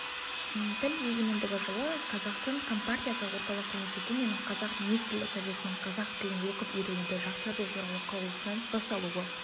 тіл егемендігі жылы қазақстан компартиясы орталық комитеті мен қазақ министрлер советінің қазақ тілін оқып-үйренуді жақсарту туралы қаулысынан басталуы